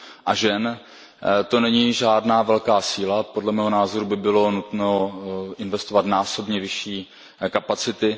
a žen, to není žádná velká síla, podle mého názoru by bylo nutno investovat násobně vyšší kapacity.